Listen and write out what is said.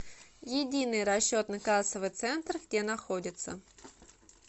единый расчетно кассовый центр где находится